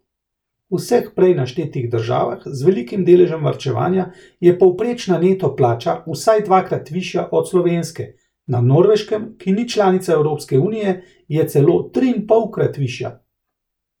V vseh prej naštetih državah z velikim deležem varčevanja je povprečna neto plača vsaj dvakrat višja od slovenske, na Norveškem, ki ni članica Evropske unije, je celo triinpolkrat višja.